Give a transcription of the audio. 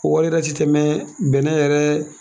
O wari yɛrɛ si tɛ bɛnnɛ yɛrɛ